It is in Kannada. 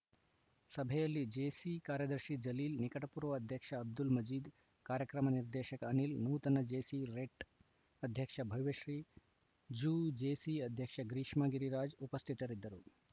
ಸಭೆಯಲ್ಲಿ ಜೇಸಿ ಕಾರ್ಯದರ್ಶಿ ಜಲೀಲ್‌ ನಿಕಟಪೂರ್ವ ಅಧ್ಯಕ್ಷ ಅಬ್ದುಲ್‌ ಮಜೀದ್‌ ಕಾರ್ಯಕ್ರಮ ನಿರ್ದೇಶಕ ಅನಿಲ್‌ ನೂತನ ಜೇಸಿ ರೆಟ್‌ ಅಧ್ಯಕ್ಷ ಭವ್ಯಶ್ರೀ ಜೂಜೇಸಿ ಅಧ್ಯಕ್ಷ ಗ್ರೀಶ್ಮ ಗಿರಿರಾಜ್‌ ಉಪಸ್ಥಿತರಿದ್ದರು